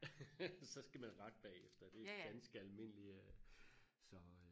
så skal man rette bagefter det er ganske almindelig øh så